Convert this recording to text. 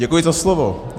Děkuji za slovo.